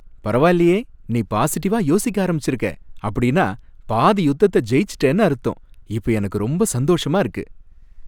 பரவாயில்லையே, நீ பாசிட்டிவா யோசிக்க ஆரம்பிச்சிருக்க, அப்படின்னா பாதி யுத்தத்த ஜெயிச்சிட்டேன்னு அர்த்தம். இப்ப எனக்கு ரொம்ப சந்தோஷமா இருக்கு.